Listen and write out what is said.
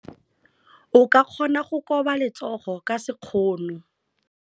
O ka kgona go koba letsogo ka sekgono.